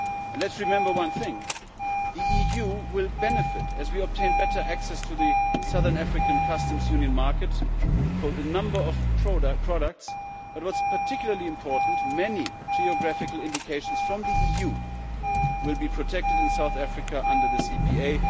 Let us remember one thing the EU will benefit as we obtain better access to the Southern African Customs Union markets for a number of products, but what is particularly important is that many geographical indications from the EU will be protected in South Africa under this EPA.